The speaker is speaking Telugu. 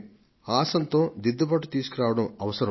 ఆసాంతం దిద్దుబాటు తీసుకురావడం అవసరం